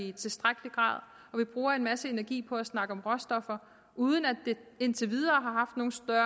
i tilstrækkelig grad vi bruger en masse energi på at snakke om råstoffer uden at det indtil videre